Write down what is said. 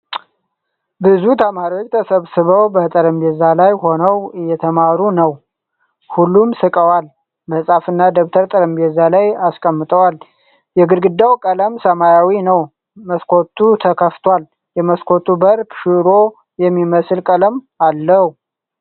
ብዙ ተማሪዎች ተሰብስበው በጠረጴዛ ላይ ሆነው እየተማሩ ነው። ሁሉም ስቀዋል ። መጽሐፍና ደብተር ጠረጴዛ ላይ አስቀምጠዋል። የግድግዳው ቀለም ሰማያዊ ነው ። መስኮቱ ተከፍቷል ።የመስኮቱ በር ሽሮ የሚመስል ቀለም አለው ።